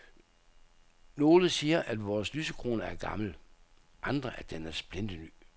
Nogle siger vores lysekrone er gammel, andre at den er splinterny.